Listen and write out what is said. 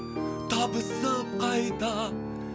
табысып қайта